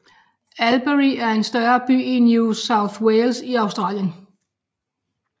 Albury er en større by i New South Wales i Australien